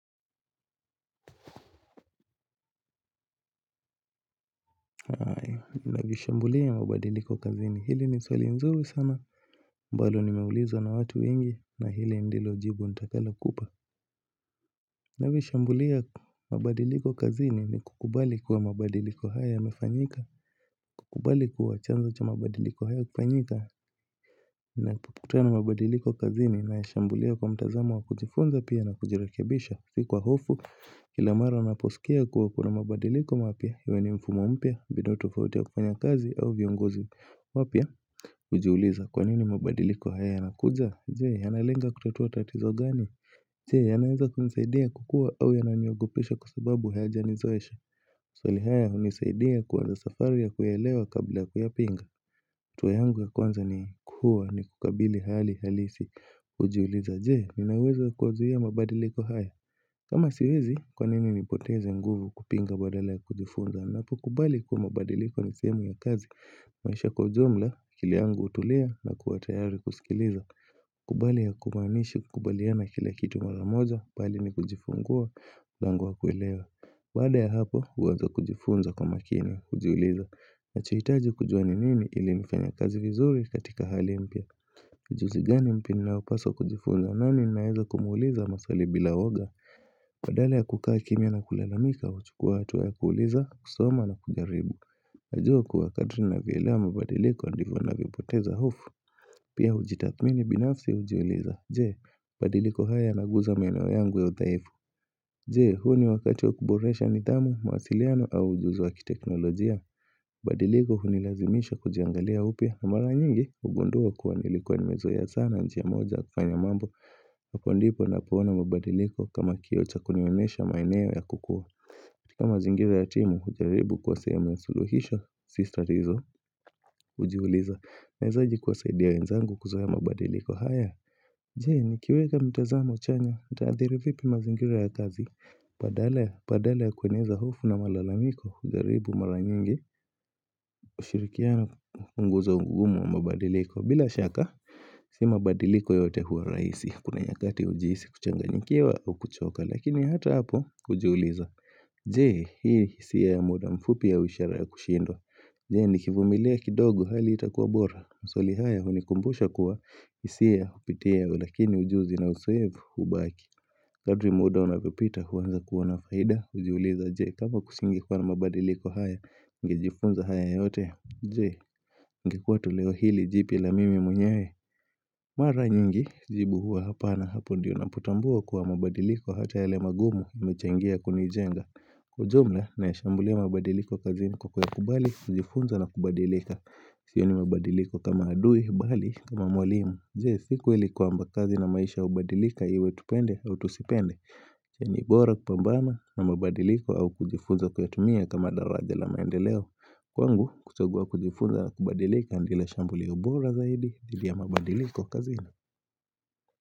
Na vishambulia ya mabadiliko kazini hili ni swali nzuri sana ambalo nimeulizwa na watu wengi na hili ndilo jibu nitakalokupa na vishambulia mabadiliko kazini ni kukubali kuwa mabadiliko haya yamefanyika kubali kuwa chanzo cha mabadiliko haya kufanyika na kukutana mabadiliko kazini naeshambulia kwa mtazamo wa kujifunza pia na kujirekebisha si kwa hofu, kila mara naposikia kuwa kuna mabadiliko mapya huyo ni mfumo mpya, mbinu tofauti ya kufanya kazi au viongozi wapya, ujiuliza kwanini mabadiliko haya ya nakuja Jee, yanalenga kutatua tatizo gani Jee, yanaeza kunisaidia kukua au yananiogopesha kwa sababu haya janizoesha swali haya unisaidia kuanza safari ya kuyaelewa kabla kuyapinga hatua yangu ya kwanza ni kuwa ni kukabili hali halisi ujiuliza jee ninauwezo wa kuyazuia mabadiliko haya kama siwezi kwa nini nipoteze nguvu kupinga badala ya kujifunza Napo kubali kuwa mabadiliko ni sehemu ya kazi maisha kwa ujumla akili yangu utulia na kuwa tayari kusikiliza kubali hakumaanishi kukubaliana na kila kitu mara moja bali ni kujifungua lmlango wa kuelewa Baada ya hapo uanza kujifunza kwa makini ujiuliza ninachoitaji kujua ninini ilinifanye kazi vizuri katika hali mpya ujuzigani mpya ninaopaswa kujifunza nani naeza kumuuliza maswali bila uoga badala ya kukaa kimia na kulalamika uchukua hatua ya kuuliza, kusoma na kujaribu Najua kuwa kadri navyoelewa mabadiliko ndivyo navyopoteza hofu Pia ujitathmini binafsi ujiuliza Jee, mabadiliko haya yanaguza maeneo yangu ya udhaifu Jee, huu ni wakati wa kuboresha nidhamu, mawasiliano au ujuzi wa ki teknolojia Badiliko hunilazimisha kujiangalia upya na mara nyingi Ugundua kuwa nilikuwa nimezoea sana njia moja kufanya mambo Hapo ndipo napoona mabadiliko kama kioo cha kunionyesha maeneo ya kukua kama zingira ya timu ujaribu kuwa sehemu ya suluhisho Si tatizo ujiuliza naezaje kuwasaidia wenzangu kuzoea mabadiliko haya, je ni kiweka mtazamo chanya, nitaadhiri vipi mazingira ya kazi Badala ya, badala ya kueneza hofu na malalamiko ujaribu mara nyingi ushirikiano upunguza ugumu wa mabadiliko bila shaka Si mabadiliko yote hua raisi Kuna nyakati ujiisi kuchanga nyikiwa au kuchoka Lakini hata hapo ujiuliza Jee hii siya ya muda mfupi au ishara ya kushindwa Jee nikivumilia kidogo hali itakuwa bora maswali haya unikumbusha kuwa isiya upitia lakini ujuzi na uzoefu ubaki Kadri muda unapopita uanza kuona faida Ujiuliza jee kama kusingekuwa na mabadiliko haya niNgejifunza haya yote Jee, ningekuwa toleo hili jipya la mimi mwenyewe. Mara nyingi jibu huwa hapa na hapo ndiyo na potambua kuwa mabadiliko hata yale magumu yamechangia kunijenga. Ujumla, naishambulia mabadiliko kazini kwa kuya kubali, kujifunza na kubadilika. Sioni mabadiliko kama adui, bali, kama mwalimu. Jee, siku ilikuwa mbakazi na maisha ubadilika iwe tupende au tusipende. Ni bora kupambana na mabadiliko au kujifunza kuyatumia kama daraja la maendeleo Kwangu kuchagua kujifunza na kubadilika ndilo shambulio bora zaidi dhidi ya mabadiliko kazini.